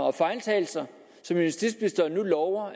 og fejltagelser som justitsministeren nu lover